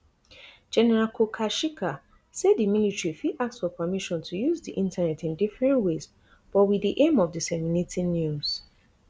general kukasheka say di military fit ask for permission to use di internet in different ways but wit di aim of disseminating news